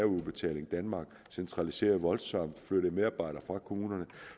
udbetaling danmark centraliserede voldsomt og flyttede medarbejdere fra kommunerne